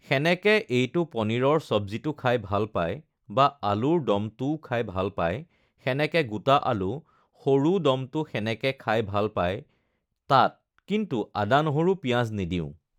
সেনেকে এইটো পনীৰৰ চব্জীটো খাই ভাল পায় বা আলুৰ ডমটোও খাই ভাল পায়, সেনেকে গোটা আলু সৰু ডমটো সেনেকে খাই ভাল পায় তাত কিন্তু আদা নহৰু পিঁয়াজ নিদিওঁ